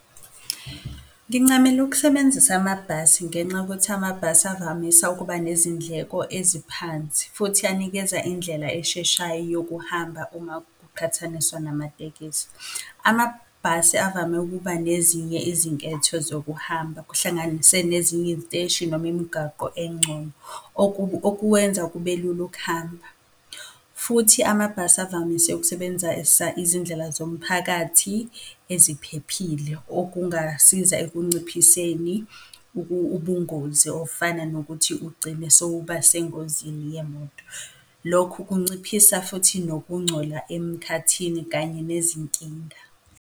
Ngincamela ukusebenzisa amabhasi ngenxa yokuthi amabhasi avamisa ukuba nezindleko eziphansi, futhi anikeza indlela esheshayo yokuhamba uma kuqhathaniswa namatekisi. Amabhasi avame ukuba nezinye izinketho zokuhamba, kuhlanganise nezinye iziteshi, noma imgaqo engcono, okwenza kube lula ukuhamba. Futhi amabhasi avamise ukusebenzisa izindlela zomphakathi eziphephile okungasiza ekunciphiseni ubungozi ofana nokuthi ugcine sowuba sengozini yemoto. Lokhu kunciphisa futhi nokungcola emkhathini kanye nezinkinga.